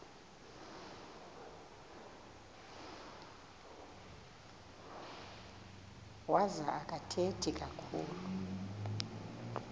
wazo akathethi kakhulu